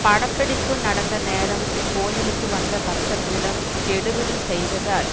படப்பிடிப்பு நடந்த நேரம் கோயிலுக்கு வந்த பக்தர்களிடம் கெடுபிடி செய்ததால்